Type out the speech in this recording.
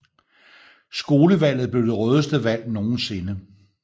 Skolevalget blev det rødeste valg nogensinde